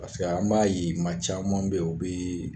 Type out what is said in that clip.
Paseke an b'a ye ma caman bɛ yen, o bɛ